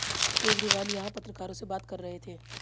केजरीवाल यहां पत्रकारों से बात कर रहे थे